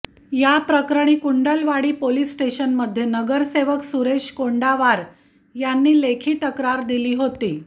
याप्रकरणी कुंडलवाडी पोलीस स्टेशनमध्ये नगरसेवक सुरेश कोंडावार यांनी लेखी तक्रार दिली होती